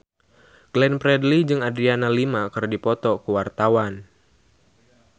Glenn Fredly jeung Adriana Lima keur dipoto ku wartawan